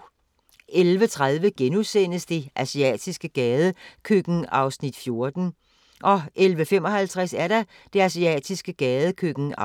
11:30: Det asiatiske gadekøkken (14:21)* 11:55: Det asiatiske gadekøkken (15:21)